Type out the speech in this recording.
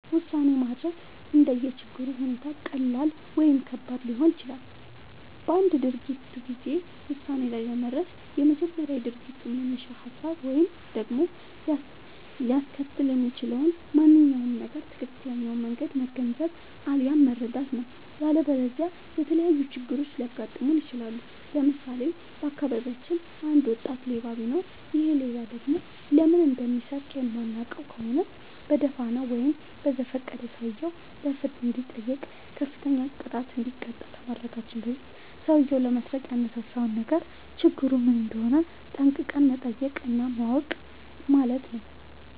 ውሳኔ ማድረግ እንደየ ችግሩ ሁኔታ ቀላል ወይም ከባድ ሊሆን ይችላል። በአንድ ድርጊት ጊዜ ውሳኔ ላይ ለመድረስ በመጀመሪያ የድርጊቱን መነሻ ሀሳብ ወይም ደግሞ ሊያስከትል የሚችለውን ማንኛውም ነገር ትክክለኛውን መንገድ መገንዘብ፣ አለያም መረዳት ነው።. ያለበለዚያ የተለያዩ ችግሮች ሊያጋጥሙን ይችላሉ። ለምሳሌ:- በአካባቢያችን አንድ ወጣት ሌባ ቢኖር ይሔ ሌባ ደግሞ ለምን እንደሚሰርቅ የማናውቅ ከሆነ በደፋናው ወይም በዘፈቀደ ሰውየው በፍርድ እንዲጠይቅ፤ ከፍተኛ ቅጣት እንዲቀጣ ከማድረጋችን በፊት ሠውዬው ለመስረቅ ያነሳሳውን ነገር ችግሩ ምን እንደሆነ ጠንቅቀን መጠየቅ እና ማወቅ አለብን ማለት ነው።